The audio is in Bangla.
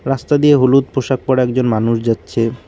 রাস্তা দিয়ে হলুদ পোশাক পরা একজন মানুষ যাচ্ছে।